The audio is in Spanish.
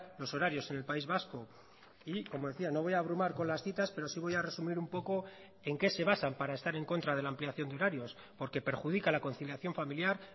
los horarios en el país vasco y como decía no voy a abrumar con las citas pero sí voy a resumir un poco en qué se basan para estar en contra de la ampliación de horarios porque perjudica la conciliación familiar